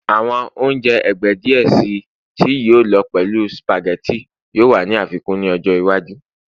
Awọn ounjẹ ẹgbẹ diẹ sii tí yíò lọ pẹlu spaghetti yoo wa ni afikun ni ọjọ iwaju